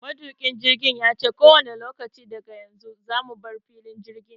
Matuƙin jirgin yace kowanne lokaci daga yanzu zamu bar filin jirgin.